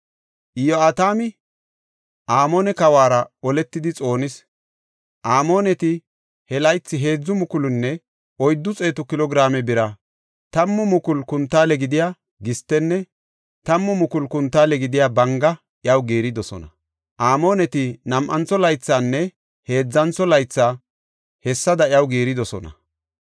Iyo7atami Amoone kawuwara oletidi xoonis. Amooneti he laythi heedzu mukulunne oyddu xeetu kilo giraame bira, tammu mukulu kuntaale gidiya gistenne tammu mukulu kuntaale gidiya banga iyaw giiridosona. Amooneti nam7antho laythinne heedzantho laythi hessada iyaw giiridosona.